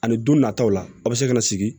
Ani don nataw la a bɛ se ka na sigi